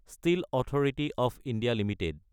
steel authority of India Ltd